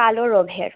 কালো রথের